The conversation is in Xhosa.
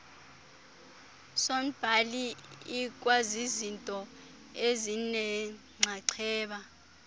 sornbhali ikwazizinto ezinenxaxheba